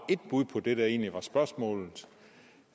på den ene